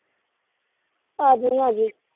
ਆਜੀ-ਆਜੀ।